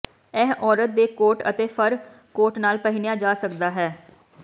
ਇਹ ਔਰਤ ਦੇ ਕੋਟ ਅਤੇ ਫਰ ਕੋਟ ਨਾਲ ਪਹਿਨਿਆ ਜਾ ਸਕਦਾ ਹੈ